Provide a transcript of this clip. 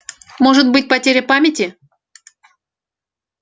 может быть потеря памяти